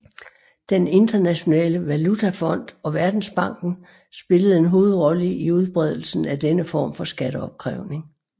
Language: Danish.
Den Internationale Valutafond og Verdensbanken spillede en hovedrolle i udbredelsen af denne form for skatteopkrævning